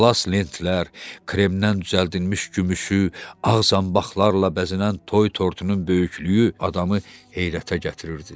Atlas lentlər, kremdən düzəldilmiş gümüşü ağ zanbaqlarla bəzənən toy tortunun böyüklüyü adamı heyrətə gətirirdi.